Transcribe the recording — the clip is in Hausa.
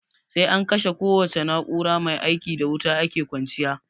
Sai an kashe kowace na'ura maia ikin da wuta ake kwanciya.